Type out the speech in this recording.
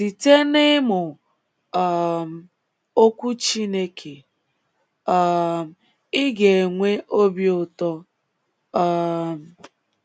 Site n’ịmụ um Okwu Chineke, um ị ga - enwe obi ụtọ. um